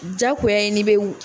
Jakoya ye n'i bɛ.